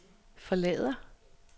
forlader